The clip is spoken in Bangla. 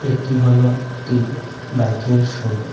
এটি হল একটি বাইকের শোরুম ।